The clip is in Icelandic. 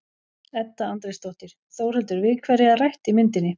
Edda Andrésdóttir: Þórhildur, við hverja er rætt í myndinni?